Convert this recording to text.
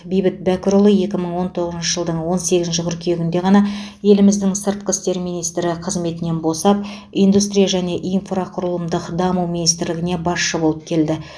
бейбіт бәкірұлы екі мың он тоғызыншы жылдың он сегізінші қыркүйегінде ғана еліміздің сыртқы істер министрі қызметінен босап индустрия және инфрақұрылымдық даму министрлігіне басшы болып келді